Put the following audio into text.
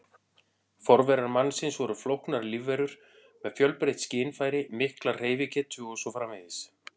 Forverar mannsins voru flóknar lífverur með fjölbreytt skynfæri, mikla hreyfigetu og svo framvegis.